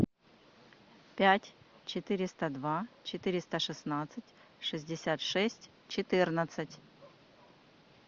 пять четыреста два четыреста шестнадцать шестьдесят шесть четырнадцать